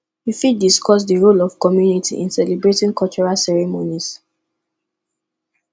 you fit discuss di role of community in celebrating cultural ceremonies